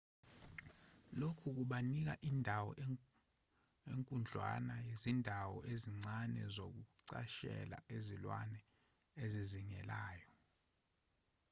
lokhu kubanika indawo enkudlwana yezindawo ezincane zokucashela izilwane ezizingelayo